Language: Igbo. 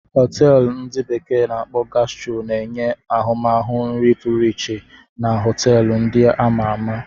Họteelu ndi bekee na-akpo Gastro na-enye ahụmahụ nri pụrụ iche na họteelu ndị a ma ama.